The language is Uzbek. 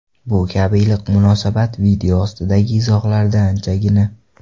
Bu kabi iliq munosabat video ostidagi izohlarda anchagina.